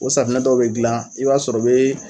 O safinɛ dɔw be gilan i b'a sɔrɔ o bee